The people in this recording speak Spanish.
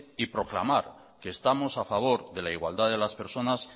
y proclamar que estamos a favor de la igualdad de las personas